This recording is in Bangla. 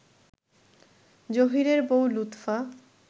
জহীরের বউ লুৎফা